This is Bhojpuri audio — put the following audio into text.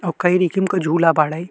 ओ कई रिखिम क झूला बाड़े।